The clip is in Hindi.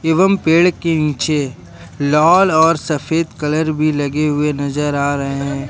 एवं पेड़ के नीचे लाल और सफेद कलर भी लगे हुए नजर आ रहे हैं।